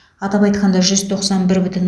атап айтқанда жүз тоқсан бір бүтін